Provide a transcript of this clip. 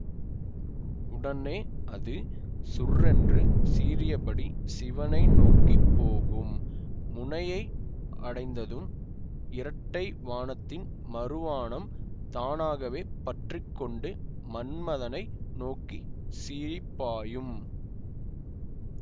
உடனே அது சுர்ரென்று சீறியபடி சிவனை நோக்கி போகும் முனையை அடைந்ததும் இரட்டை வாணத்தின் மறுவாணம் தானாகவே பற்றி கொண்டு மன்மதனை நோக்கி சீறிப்பாயும்